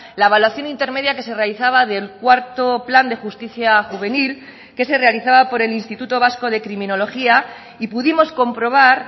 la evaluación intermedia que se realizaba del cuarto plan de justicia juvenil que se realizaba por el instituto vasco de criminología y pudimos comprobar